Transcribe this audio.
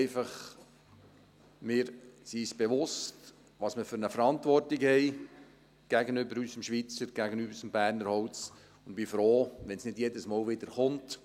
Wir sind uns bewusst, welche Verantwortung wir haben gegenüber unserem Schweizer, gegenüber unserem Berner Holz, und ich bin froh, wenn es nicht jedes Mal wieder kommt.